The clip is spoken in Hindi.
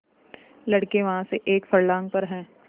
लड़के वहाँ से एक फर्लांग पर हैं